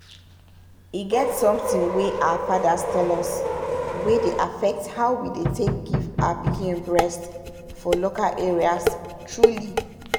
e get something wey our fathers tell us wey dey affect how we dey take give our pikin breast for local areas truly.